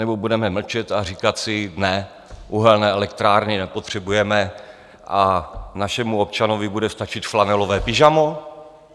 Nebo budeme mlčet a říkat si: Ne, uhelné elektrárny nepotřebujeme a našemu občanovi bude stačit flanelové pyžamo?